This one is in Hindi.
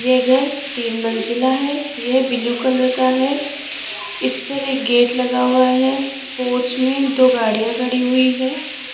ये घर तीन मंजिला है यह ब्लू कलर का है इस पर एक गेट लगा हुआ है पोर्च में दो गाड़ियां खड़ी हुई है।